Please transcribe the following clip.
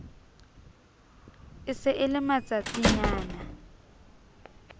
e se e le matsatsinyana